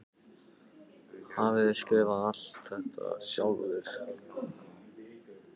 Hafið þér skrifað alt þetta sjálfur?